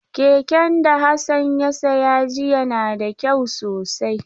Keken da Hassan ya saya jiya na da kyau sosai.